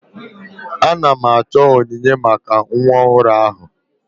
Ana m achọ onyinye maka nwa ọhụrụ ahụ.